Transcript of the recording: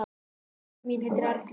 Frænka mín heitir Erla.